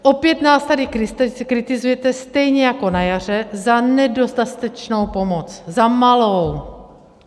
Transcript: Opět nás tady kritizujete stejně jako na jaře za nedostatečnou pomoc, za malou.